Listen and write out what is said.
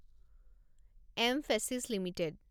M ফেছিছ limited